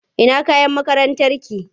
Ina kayan makarantarki?